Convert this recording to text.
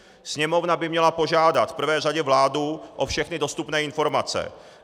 Sněmovna by měla požádat v prvé řadě vládu o všechny dostupné informace.